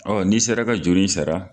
n'i sera ka juru in sara